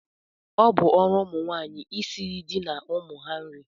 Ọ bụ ọrụ ụmụnwaanyị isiri di na ụmụ ha nri